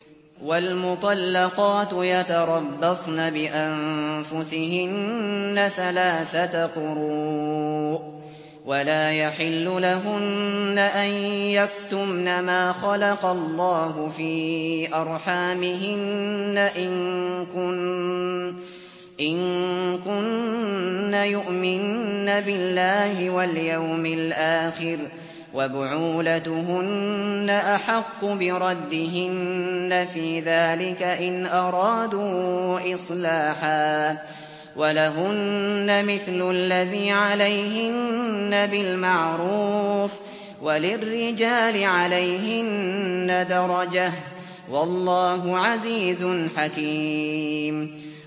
وَالْمُطَلَّقَاتُ يَتَرَبَّصْنَ بِأَنفُسِهِنَّ ثَلَاثَةَ قُرُوءٍ ۚ وَلَا يَحِلُّ لَهُنَّ أَن يَكْتُمْنَ مَا خَلَقَ اللَّهُ فِي أَرْحَامِهِنَّ إِن كُنَّ يُؤْمِنَّ بِاللَّهِ وَالْيَوْمِ الْآخِرِ ۚ وَبُعُولَتُهُنَّ أَحَقُّ بِرَدِّهِنَّ فِي ذَٰلِكَ إِنْ أَرَادُوا إِصْلَاحًا ۚ وَلَهُنَّ مِثْلُ الَّذِي عَلَيْهِنَّ بِالْمَعْرُوفِ ۚ وَلِلرِّجَالِ عَلَيْهِنَّ دَرَجَةٌ ۗ وَاللَّهُ عَزِيزٌ حَكِيمٌ